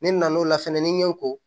Ne nan'o la fɛnɛ ni n ye ko